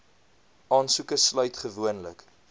aansoeke sluit gewoonlik